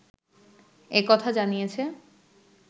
একথা জানিয়েছে